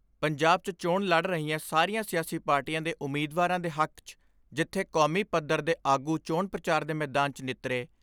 ਪੰਜਾਬ 'ਚ ਚੋਣ ਲੜ ਰਹੀਆਂ ਸਾਰੀਆਂ ਸਿਆਸੀ ਪਾਰਟੀਆਂ ਦੇ ਉਮੀਦਵਾਰਾਂ ਦੇ ਹੱਕ 'ਚ ਜਿੱਥੇ ਕੌਮੀ ਪੱਧਰ ਆਗੂ ਚੋਣ ਪ੍ਰਚਾਰ ਦੇ ਮੈਦਾਨ 'ਚ ਨਿਤਰੇ।